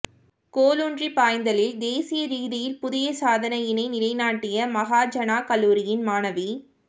கோலூன்றிப் பாய்தலில் தேசிய ரீதியில் புதிய சாதனையினை நிலைநாட்டிய மகாஜனாக் கல்லூரியின் மாணவி